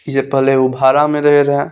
इ जे पहले उ भाड़ा में रहे रहा।